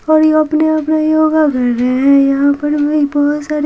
और ये अपने आप में योगा कर रहे हैं यहाँ पर बहुत सारे--